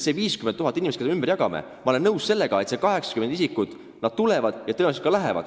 Ma olen nõus sellega, et need 80 isikut tulevad siia ja tõenäoliselt ka lähevad siit.